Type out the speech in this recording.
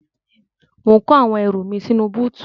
Mò ń kó àwọn ẹrù mi sínú búùtù.